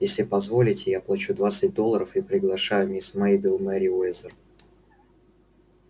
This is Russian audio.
если позволите я плачу двадцать долларов и приглашаю мисс мейбелл мерриуэзер